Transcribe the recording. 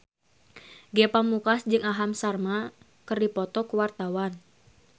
Ge Pamungkas jeung Aham Sharma keur dipoto ku wartawan